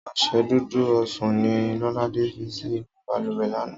Ọṣẹ Dúdú Osùn ni Lọ́ládé fi sí inú bàlùwẹ̀ lánàá